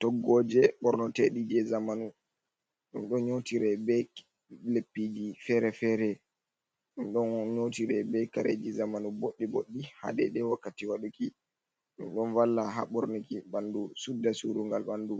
Toggoje ɓornoteɗi je zamanu, ɗum ɗon nyotire be leppiji fere-fere, ɗum ɗon nyotire be kaareji zamanu boɗɗi boɗɗi ha dedei wakkati waɗuki. Ɗum ɗon valla ha ɓornuki ɓandu sudda surungal ɓandu,